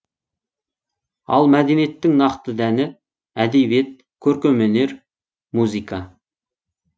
ал мәдениеттің нақты дәні әдебиет көркемөнер музыка